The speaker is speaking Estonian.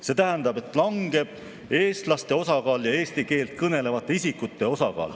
See tähendab, et langeb eestlaste osakaal ja eesti keelt kõnelevate isikute osakaal.